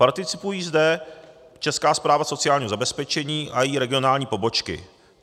Participují zde Česká správa sociální zabezpečení a její regionální pobočky.